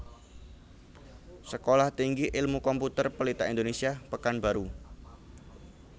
Sekolah Tinggi Ilmu Komputer Pelita Indonesia Pekanbaru